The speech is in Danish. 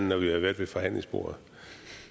når vi har været ved forhandlingsbordet og